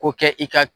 Ko kɛ i ka